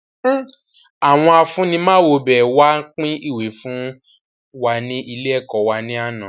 Àwọn afunimawobẹ wá pin ìwé fún wa ní ilé ẹ̀kọ́ wá ní àná